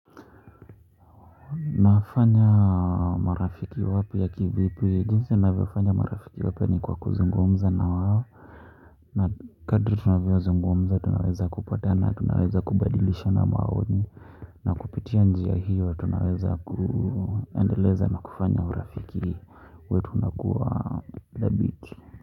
Nafanya marafiki wapi ya kivipi jinsi navyofanya marafiki wapya ni kwa kuzungumza na wao na kadri tunavyozungumza tunaweza kupatana tunaweza kubadilishana maoni na kupitia njia hiyo tunaweza kuendeleza na kufanya urafiki wetu unakuwa dhabiti.